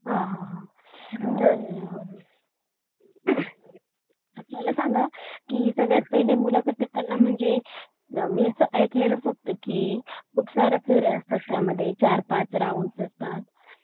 हा हा हा तर मला सांगा सगळ्यात पहिले मुलाखत देताना म्हणजे मी अस ऐकलेल फक्त की त्यामध्ये खूप साऱ्या क्वेऱ्या असतात त्यामध्ये चार पाच राऊंडस् असतात